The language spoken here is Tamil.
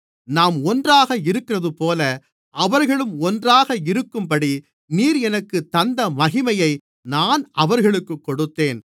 நாம் ஒன்றாக இருக்கிறதுபோல அவர்களும் ஒன்றாக இருக்கும்படி நீர் எனக்குத் தந்த மகிமையை நான் அவர்களுக்குக் கொடுத்தேன்